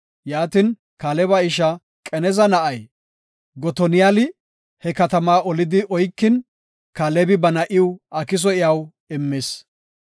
Yaatin, Kaaleba ishaa Qanaza na7ay, Gotoniyali he katama olidi oykin, Kaalebi ba na7iw Akiso iyaw immis.